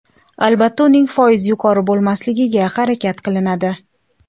Albatta, uning foizi yuqori bo‘lmasligiga harakat qilinadi.